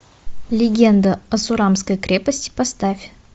легенда о сурамской крепости поставь